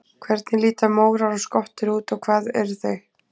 Hvernig líta mórar og skottur út og hvað eru þau?